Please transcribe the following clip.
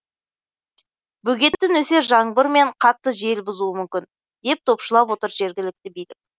бөгетті нөсер жаңбыр мен қатты жел бұзуы мүмкін деп топшылап отыр жергілікті билік